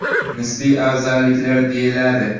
Nisbiy afzalliklar deyiladi.